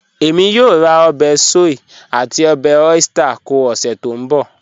Ẹ̀mí yóò rá obè soy àti obè oyster kọ́ ọ̀sẹ̀ tó nbọ̀.